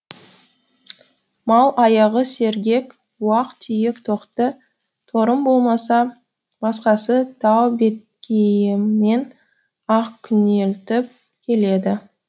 мал аяғы сергек уақ түйек тоқты торым болмаса басқасы тау беткейімен ақ күнелтіп келеді